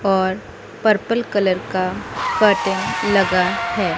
और purple colour का curtain लगा है।